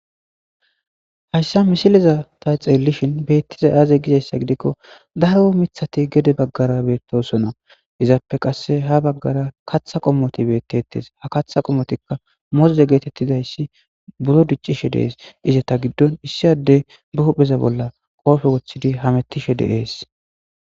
hayssa misileza ta xeellishin beettiza aaze gizayssa gidikko daro mithati gede baggara beettosona izappe qasse ha baggara katha qommoti bettettes ha katha qomotikka mozze geetettizayssi buro diccishe dees ize ta giddon issi adde bupheza bolla qoofe wothidi hamettishe deees